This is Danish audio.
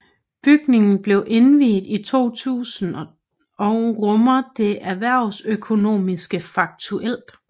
Bygningen blev indviet i 2000 og rummer Det Erhvervsøkonomiske Fakultet